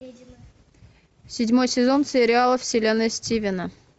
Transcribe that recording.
седьмой сезон сериала вселенная стивена